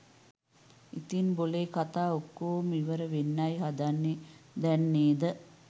ඉතිං බොලේ කතා ඔක්කොම ඉවර වෙන්නයි හදන්නේ දැන් නේද?